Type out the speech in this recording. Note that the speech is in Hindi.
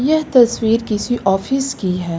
यह तस्वीर किसी ऑफिस की है।